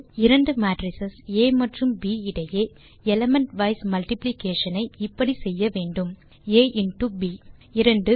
இரண்டு மேட்ரிஸ் ஆ மற்றும் ப் இடையே எலிமெண்ட் வைஸ் மல்டிப்ளிகேஷன் ஐ இப்படி செய்ய வேண்டும் ஆ இன்டோ ப் 2